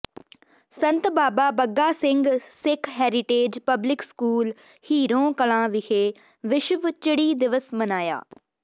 ਸੰਤ Baba Bagga Singh Sikh heritage public school Hiron Kalan ਵਿਖੇ ਵਿਸ਼ਵ ਚਿੜੀ ਦਿਵਸ ਮਨਾਇਆ